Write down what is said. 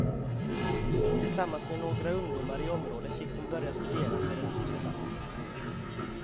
Tillsammans med några ungdomar i området fick hon börja studera för en guvernant.